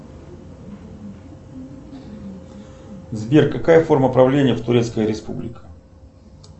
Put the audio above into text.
сбер какая форма правления в турецкой республике